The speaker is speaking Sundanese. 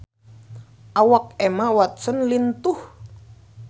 Awak Emma Watson lintuh